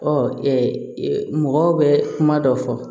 Ɔ mɔgɔw bɛ kuma dɔ fɔ